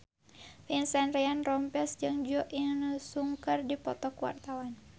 Vincent Ryan Rompies jeung Jo In Sung keur dipoto ku wartawan